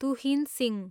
Tuhin Singh